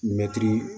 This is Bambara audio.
Mɛtiri